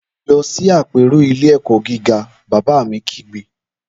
Lọ sí àpérò ilé-ẹ̀kọ́ gíga!, bàbá mi kígbe